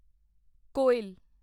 ਕੋਇਲ